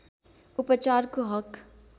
उपचारको हक